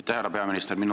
Aitäh, härra peaminister!